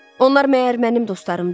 Onlar məyər mənim dostlarımdır?